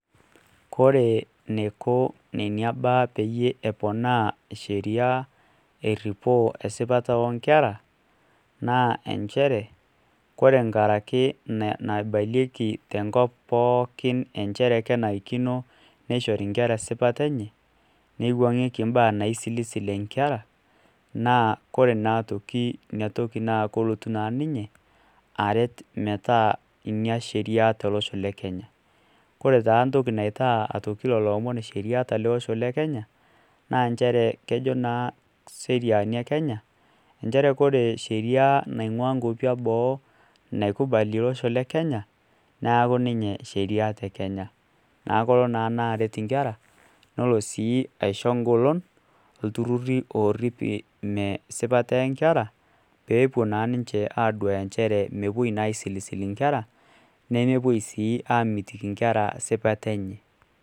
Kore neiko nena baa peyie eponaa sheria eripoo esipataa oonkera naa kenenare neiwuang'ieki esipata enye nkaraki naibalieki tenkop pooki kenarikino neishori inkera esipata enye neiwuang'ieki imbaaa naisilisil inkera naa kore naa aitoki ina toki naa kelotu naa ninye aret metaa sheria ina tolosho le kenya kore taa entokii naitaa aitoki lelo omon sheria tele osho le kenya inchere kejo naa isheriani e kenya inchere ore sheria naing'ua inkuapi eboo naikubali ele osho le kenya naa kelo aauku sheria te kenya na lelo naa aret inkera nelo aisho engolon intururi ooorip ina sipata ee nkera peepuo naa duaya inkera mepuoi aaisilisil inkera nemepuoi naa amitiki inkera sipata enye.